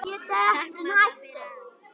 Takk mamma, fyrir allt.